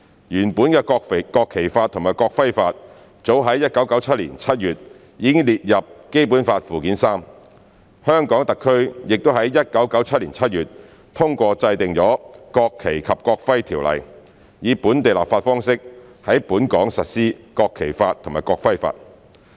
原本的《國旗法》及《國徽法》早於1997年7月已列入《基本法》附件三，香港特區已於1997年7月通過制定《國旗及國徽條例》，以本地立法方式在本港實施《國旗法》及《國徽法》。